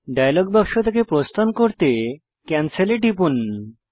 dialogue বাক্স থেকে প্রস্থান করতে ক্যানসেল এ টিপুন